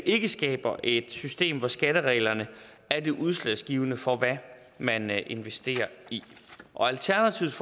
ikke skaber et system hvor skattereglerne er det udslagsgivende for hvad man investerer i og alternativets